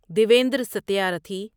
Devendra Satyarthi